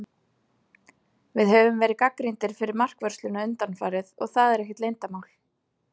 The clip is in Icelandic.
Við höfum verið gagnrýndir fyrir markvörsluna undanfarið, og það er ekkert leyndarmál.